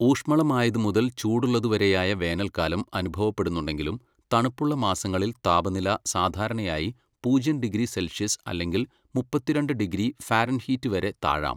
"ഊഷ്മളമായതു മുതൽ ചൂടുള്ളതുവരെയായ വേനൽക്കാലം അനുഭവപ്പെടുന്നുണ്ടെങ്കിലും തണുപ്പുള്ള മാസങ്ങളിൽ താപനില സാധാരണയായി പൂജ്യം ഡിഗ്രി സെൽഷ്യസ് അല്ലെങ്കിൽ മുപ്പത്തിരണ്ട് ഡിഗ്രി ഫാരൻഹീറ്റ് വരെ താഴാം."